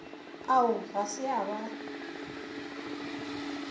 ao ga se a ba